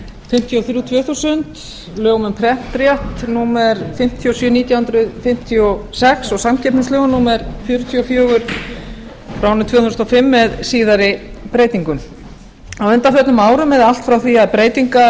fimmtíu og þrjú tvö þúsund lögum um prentrétt númer fimmtíu og sjö nítján hundruð fimmtíu og sex og samkeppnislögum númer fjörutíu og fjögur tvö þúsund og fimm með síðari breytingum á undanförnum árum eða allt frá því að breytingar á